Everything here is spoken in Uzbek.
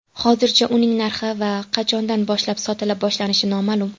Hozircha uning narxi va qachondan boshlab sotila boshlanishi noma’lum.